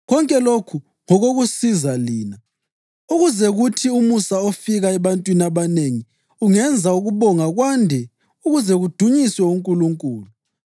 Konke lokhu ngokokusiza lina, ukuze kuthi umusa ofika ebantwini abanengi ungenza ukubonga kwande ukuze kudunyiswe uNkulunkulu.